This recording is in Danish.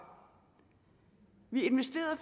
vi investerede